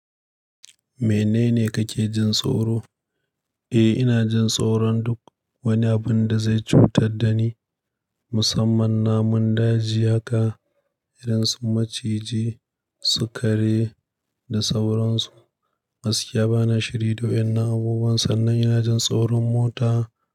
Menene kake jin tsoro? Eh, ina jin tsoron duk wani abun da zai cutar da ni musamman namun daji. Haka, irin sun maciji, su kare da sauransu. Gaskiya ba ni shiri da waennan abubuwan sannan ina jin tsoron mota.